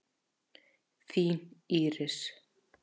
Þín, Íris.